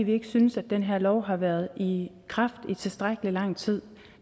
vi ikke synes at den her lov har været i kraft i tilstrækkelig lang tid